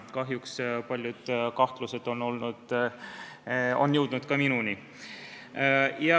Kahjuks on minuni jõudnud paljud kahtlused.